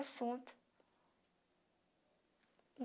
Assunto.